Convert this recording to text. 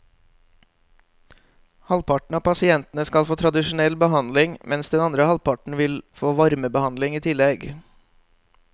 Halvparten av pasientene skal få tradisjonell behandling, mens den andre halvparten vil få varmebehandling i tillegg.